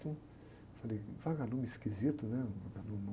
Falei, vagalume esquisito, né? Um vagalume